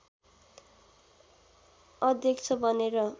अध्यक्ष बनेर